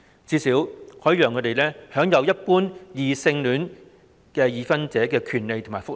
這最低限度可讓他們享有和一般異性戀已婚人士相同的權利及福利。